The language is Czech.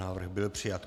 Návrh byl přijat.